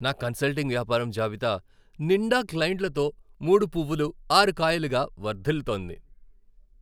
నా కన్సల్టింగ్ వ్యాపారం జాబితా నిండా క్లైంట్లతో మూడు పువ్వులు ఆరు కాయలులా వర్ధిల్లుతోంది.